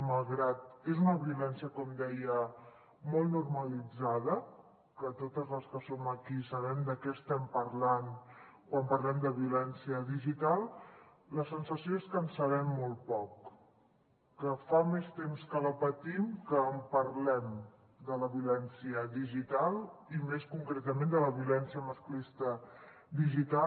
malgrat que és una violència com deia molt normalitzada que totes les que som aquí sabem de què estem parlant quan parlem de violència digital la sensació és que en sabem molt poc que fa més temps que la patim que en parlem de la violència digital i més concretament de la violència masclista digital